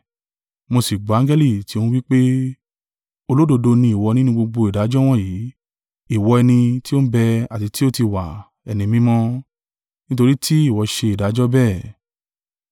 Mo sì gbọ́ angẹli tí ó n wí pé: “Olódodo ni ìwọ ninu gbogbo ìdájọ́ wọ̀nyí, ìwọ ẹni tí ó n bẹ àti tí ó tí wa, Ẹni Mímọ́ nítorí tí ìwọ ṣe ìdájọ́ bẹ́ẹ̀.